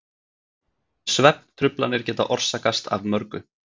Svefntruflanir geta orsakast af mörgu.